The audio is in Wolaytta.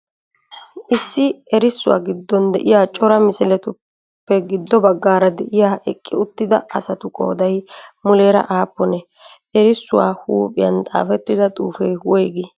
issi eerrissuwa giddon de'iya cora misiletuppe giddo baggara de'iya eqqi uttida asatu qooday muuleraa appunee? eerrissuwa huphiyan xaafetida xuufe woygi?